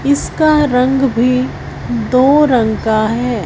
इसका रंग भी दो रंग का है।